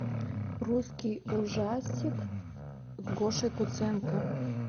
русский ужастик с гошей куценко